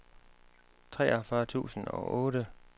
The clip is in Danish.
treogfyrre tusind og otte